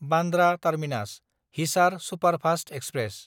Bandra टार्मिनास–हिसार superfast express